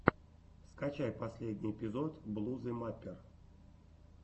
скачай последний эпизод блузы маппер